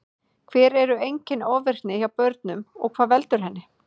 Hver eru einkenni ofvirkni hjá börnum og hvað veldur henni?